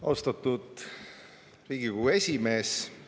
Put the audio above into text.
Austatud Riigikogu esimees!